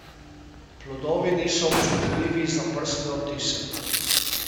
Plodovi niso občutljivi za prstne odtise.